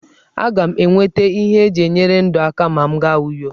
Aga m enweta ihe eji enyere ndụ aka ma m gaa Uyo.